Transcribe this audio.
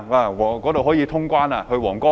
那裏可以通關，去皇崗吧！